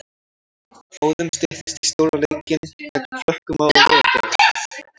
Óðum styttist í stóra leikinn gegn Frökkum á laugardaginn.